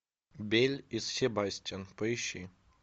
белль и себастьян поищи